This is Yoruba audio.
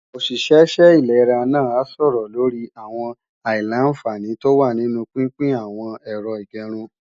Òṣìṣẹ́ ṣẹ ìlera náà a sọ̀rọ̀ lorí àwọn àìlà-àǹfààní tó wà nínu pínpín n àwọn Ẹ̀rọ ìgẹrun